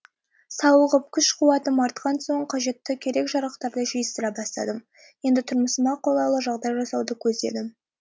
сауығып күш қуатым артқан соң қажетті керек жарақтарды жиыстыра бастадым енді тұрмысыма қолайлы жағдай жасауды көздедім